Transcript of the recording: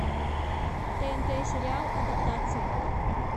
тнт сериал адаптация